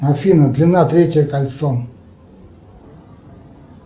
афина длина третье кольцо